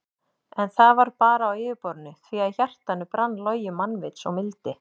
En það var bara á yfirborðinu því að í hjartanu brann logi mannvits og mildi.